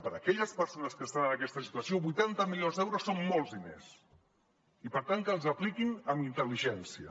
per a aquelles persones que estan en aquesta situació vuitanta milions d’euros són molts diners i per tant que els apliquin amb intel·ligència